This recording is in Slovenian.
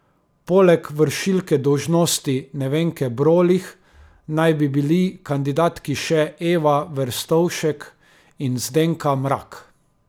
Poleg vršilke dolžnosti Nevenke Brolih na bi bili kandidatki še Eva Verstovšek in Zdenka Mrak.